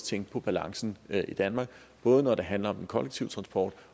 tænke på balancen i danmark både når det handler om den kollektive transport